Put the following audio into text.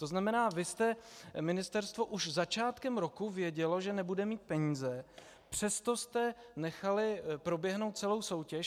To znamená, vy jste - ministerstvo už začátkem roku vědělo, že nebude mít peníze, přesto jste nechali proběhnout celou soutěž.